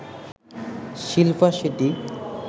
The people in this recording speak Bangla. শিল্পা শেঠী